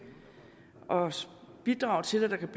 og bidrage til at der kan